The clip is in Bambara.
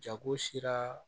Jago sera